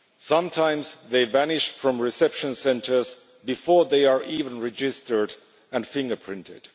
Sometimes they vanish from reception centres before they are even registered and fingerprinted.